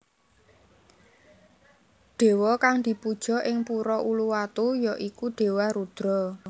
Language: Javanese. Dewa kang dipuja ing Pura Uluwatu ya iku Dewa Rudra